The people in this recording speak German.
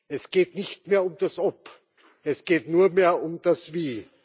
Es geht nicht mehr um das Ob, es geht nur mehr um das Wie.